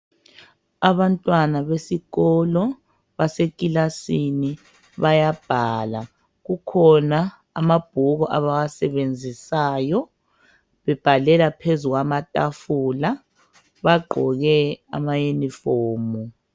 Abantwana besikolo basekilasini bayabhala. Kukhona amabhuku abawasebenziswayo bebhalela phezulu kwamatafula, bagqoke amaunifomu